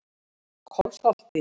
Kolsholti